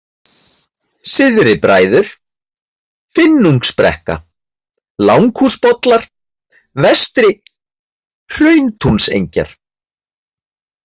Syðri-Bræður, Finnungsbrekka, Langhúsbollar, Vestri-Hrauntúnsengjar